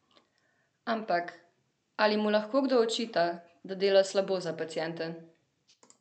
Ampak, ali mu lahko kdo očita, da dela slabo za paciente?